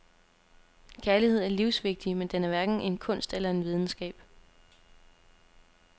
Kærlighed er livsvigtig, men den er hverken en kunst eller en videnskab.